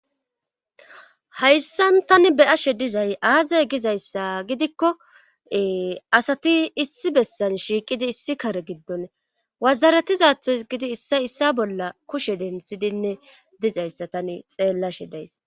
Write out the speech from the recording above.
hayssan tani be7ashe dizay aaze gizayssa gidikko asati issi bessan shiiqidi issi kare giddoni wazaratizathoy gidi issa issa bolla kushe denthidinne dizayssa tani xeellashe days.